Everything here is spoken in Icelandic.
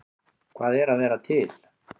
Hvað er að vera til?